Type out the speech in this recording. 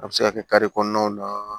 A bɛ se ka kɛ kare kɔnɔnaw na